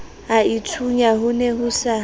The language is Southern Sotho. aithunya ho ne ho sa